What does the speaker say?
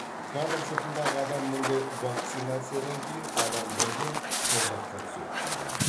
кадр сыртындағы адам мұндай вакцинациядан кейін адам бірден тозаққа түседі дейді